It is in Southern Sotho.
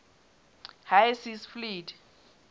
high seas fleet